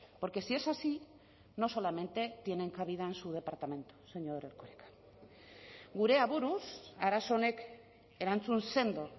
porque si es así no solamente tienen cabida su departamento señor erkoreka gure aburuz arazo honek erantzun sendo